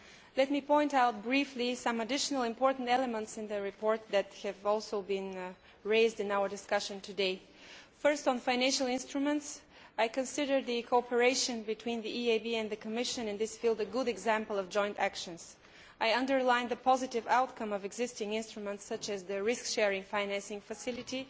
Let me point briefly to some additional important elements in the report that have also been raised in our discussion today. Firstly, on financial instruments, I consider the cooperation between the EIB and the Commission in this field to be a good example of joint actions and I underline the positive outcome of existing instruments, such as the Risk Sharing Financing Facility.